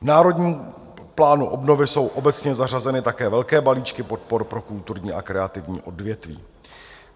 V Národním plánu obnovy jsou obecně zařazeny také velké balíčky podpor pro kulturní a kreativní odvětví.